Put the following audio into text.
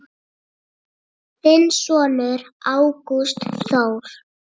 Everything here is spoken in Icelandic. Þinn sonur, Ágúst Þór.